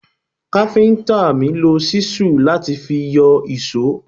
Káfíntà mi lo ṣísù láti fi yọ ìṣó.